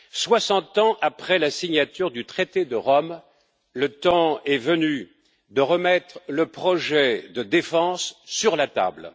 Soixante ans après la signature du traité de Rome, le temps est venu de remettre le projet de défense sur la table.